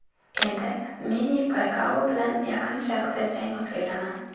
Endi Menni Pakyao bilan Yaqin Sharqda jang o‘tkazaman.